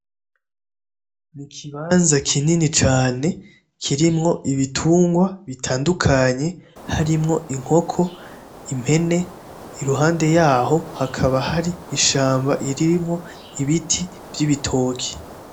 Ni ikibanza kinini cane kirimwo ibitungwa bitandukanyeharimwo inkoko, impene, iruhande yaho hakaba hari ishamba irimwo ibiti vy'ibitoke.